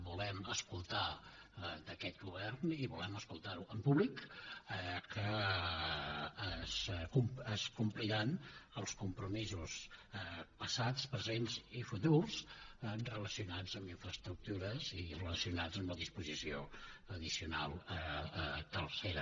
volem escoltar d’aquest govern i volem escoltar ho en públic que es compliran els compromisos passats presents i futurs relacionats amb infraestructures i relacionats amb la disposició addicional tercera